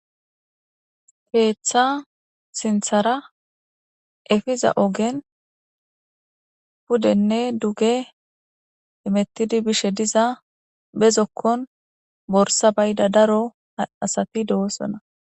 keeththa sinthara efiza oogen pudenne duge imettidi bishe diza bezokkon borsa bayda daro asati de7osona